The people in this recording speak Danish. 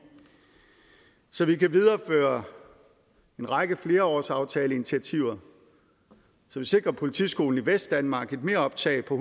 så vi kan videreføre en række flerårsaftaleinitiativer så vi sikrer politiskolen i vestdanmark et meroptag på